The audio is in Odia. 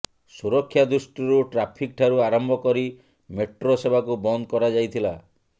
ସୁରକ୍ଷା ଦୃଷ୍ଟିରୁ ଟ୍ରାଫିକ ଠାରୁ ଆରମ୍ଭ କରି ମେଟ୍ରୋ ସେବାକୁ ବନ୍ଦ କରାଯାଇଥିଲା